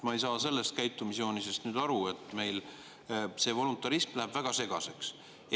Ma ei saa sellest käitumisjoonisest aru, meil see voluntarism läheb väga segaseks.